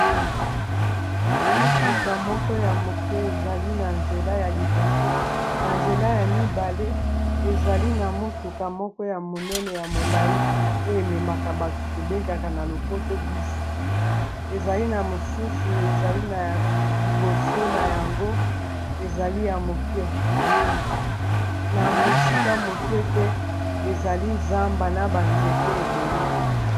Mutuka moko ya moke ezali na nzela ya liboso na nzela, ya mibale ezali na mutuka moko ya monene ya molayi oyo ememaka bato tobengaka na lopoto bus, ezali na mosusu ezali na liboso na yango ezali ya moke na mosika moke te ezali zamba na ba nzete ebele.